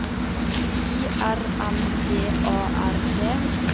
I R M G A R D